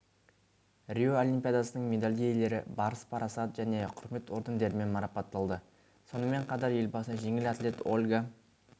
рио олимпиадасының медаль иелері барыс парасат және құрмет ордендерімен марапатталды сонымен қатар елбасы жеңіл атлет ольга